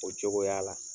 O cogoya la